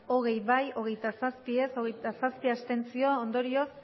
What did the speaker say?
hogei bai hogeita zazpi ez hogeita zazpi abstentzio ondorioz